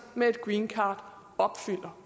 med greencard opfylder